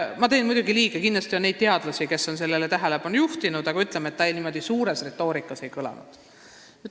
Ma teen muidugi liiga nendele teadlastele, kes on sellele tähelepanu juhtinud, aga suures retoorikas pole see mõte kõlanud.